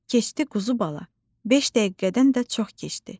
“Keçdi, quzu bala, beş dəqiqədən də çox keçdi.”